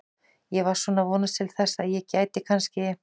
Ég var svona að vonast til þess að ég gæti kannski.